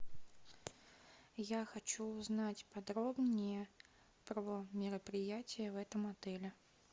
я хочу узнать подробнее про мероприятия в этом отеле